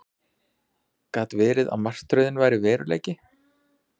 Gat verið að martröðin væri veruleiki?